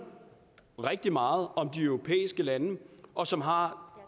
rigtig meget om de europæiske lande og som har